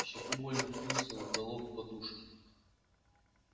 в щеку больно впился уголок подушки